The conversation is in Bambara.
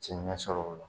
Ci ɲɛsɔrɔ o la